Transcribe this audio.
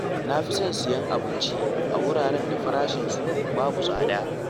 Na fi son siyan abinci a wuraren da farashinsu babu tsada.